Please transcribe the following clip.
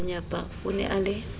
kganyapa o ne a le